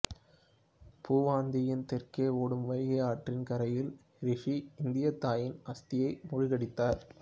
பூவந்தியின் தெற்கே ஓடும் வைகை ஆற்றின் கரையில் ரிஷி இந்த தாயின் அஸ்தியை மூழ்கடித்தார்